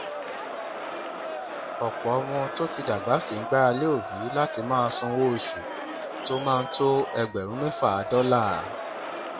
ọpọ ọmọ tó ti dàgbà ṣì ń gbára lé òbí láti máa sanwó oṣù tó máa tó ẹgbẹrún mẹfà dọlà